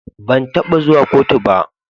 Ban taba zuwa kotu ba.